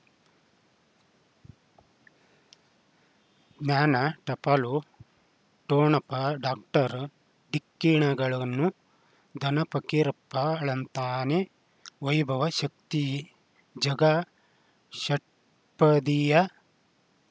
ಜ್ಞಾನ ಟಪಾಲು ಠೊಣಪ ಡಾಕ್ಟರ್ ಢಿಕ್ಕಿ ಣಗಳನು ಧನ ಫಕೀರಪ್ಪ ಳಂತಾನೆ ವೈಭವ್ ಶಕ್ತಿ ಝಗಾ ಷಟ್ಪದಿಯ